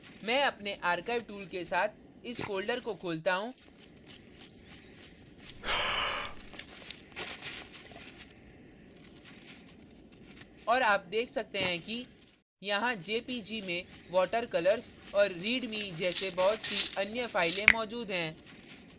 मैं अपने archive tool के साथ इस folder को खोलता हूँ और आप देख सकते हैं कि यहाँ jpg में water colours और readme जैसे बहुत see अन्य files मौजूद हैं